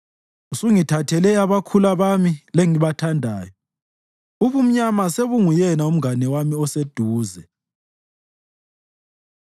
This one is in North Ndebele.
Usungithathele abakhula bami lengibathandayo; ubumnyama sebunguyena mngane wami oseduze.